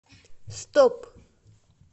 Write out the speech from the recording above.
стоп